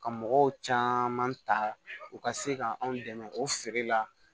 Ka mɔgɔw caman ta u ka se ka anw dɛmɛ o feere la